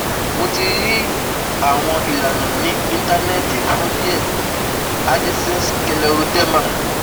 Mo ti rí àwọn ìlànà ní internet fún díẹ̀ Addison’s scleroderma